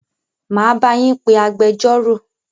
Máa bá yín pé agbẹjọ́rò.